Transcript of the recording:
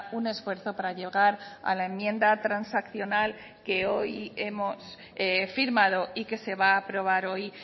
un esfuerzo para llegar a la enmienda transaccional que hoy hemos firmado y que se va a aprobar hoy